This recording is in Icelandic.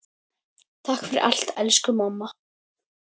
Takk fyrir allt elsku mamma.